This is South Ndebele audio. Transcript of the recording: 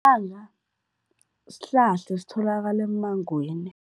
sihlahla esitholakala emmangweni.